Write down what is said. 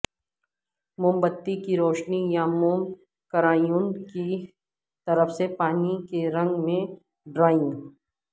موم بتی کی روشنی یا موم کرایون کی طرف سے پانی کے رنگ میں ڈرائنگ